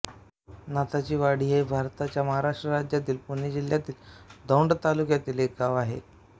नाथाचीवाडी हे भारताच्या महाराष्ट्र राज्यातील पुणे जिल्ह्यातील दौंड तालुक्यातील एक गाव आहे